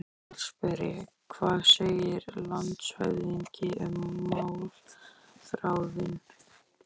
VATNSBERI: Hvað segir landshöfðingi um málþráðinn?